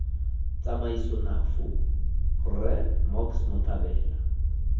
tsamaiso nafu rre mocks mothabela